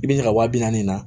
I bi ɲa ka wa bi naani na